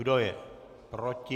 Kdo je proti?